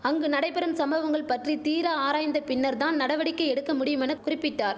அங்கு நடைபெறும் சம்பவங்கள் பற்றி தீர ஆராய்ந்த பின்னர் தான் நடவடிக்கை எடுக்க முடியுமென குறிப்பிட்டார்